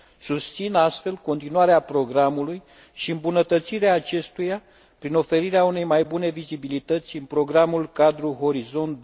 Susțin astfel continuarea programului și îmbunătățirea acestuia prin oferirea unei mai bune vizibilități în programul cadru Orizont